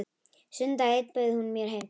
Sunnudag einn bauð hún mér heim til sín.